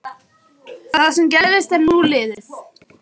Það sem gerðist er nú liðið.